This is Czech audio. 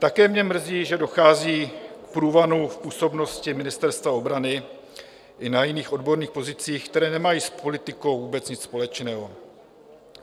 Také mě mrzí, že dochází k průvanu v působnosti Ministerstva obrany i na jiných odborných pozicích, které nemají s politikou vůbec nic společného.